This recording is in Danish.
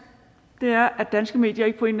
er at danske medier ikke på en